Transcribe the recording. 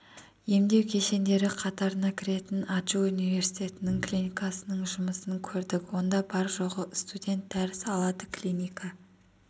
емдеу кешендері қатарына кіретін аджу университеттік клиникасының жұмысын көрдік онда бар-жоғы студент дәріс алады клиника